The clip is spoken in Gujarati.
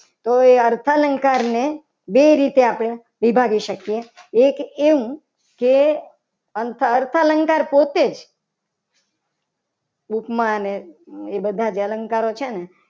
તોય અઠ્ઠા લંકાની બે રીતે આપણે ભરી શકીએ. એક એમ કે અર્થાલંકાર અર્થાલંકાર પોતે જ ઉપમા અને એ બધા જ અલંકારો છે. ને